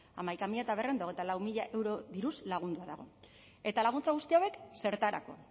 hamaika milioi berrehun eta hogeita lau mila euro diruz lagundua dago eta laguntza guzti hauek zertarako